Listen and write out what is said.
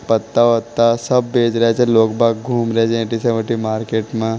पत्ता पत्ता सा बेच रहे हैं छ लोग बाग घूम रहे हैं तीसवटी मार्केट में--